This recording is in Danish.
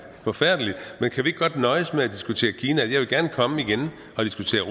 forfærdeligt men kan vi ikke godt nøjes med at diskutere kina jeg vil gerne komme igen og diskutere